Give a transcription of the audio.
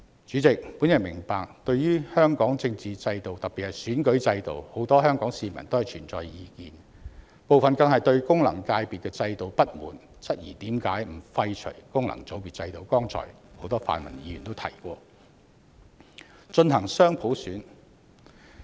主席，我明白對於香港的政治制度，特別是選舉制度，很多香港市民都存在意見，部分更不滿功能界別制度，質疑為何不廢除功能界別制度，進行很多泛民議員剛才提及的雙普選。